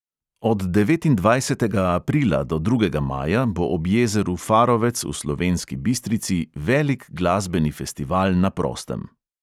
Od devetindvajsetega aprila do drugega maja bo ob jezeru farovec v slovenski bistrici velik glasbeni festival na prostem.